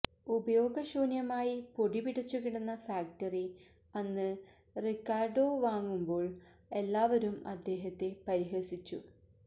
ഉപയോഗശൂന്യമായി പൊടിപിടിച്ചു കിടന്ന ഫാക്ടറി അന്ന് റിക്കാര്ഡോ വാങ്ങുമ്പോള് എല്ലാവരും അദ്ദേഹത്തെ പരിഹസിച്ചു